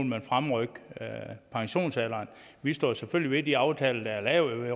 man fremrykke pensionsalderen vi står selvfølgelig ved de aftaler der er lavet i